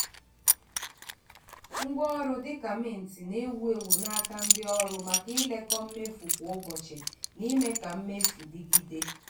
ngwaọrụ dị ka mint na-ewu ewu n’aka ndị ọrụ maka ilekọ mmefu kwa ụbọchị na ime ka mmefu dịgide.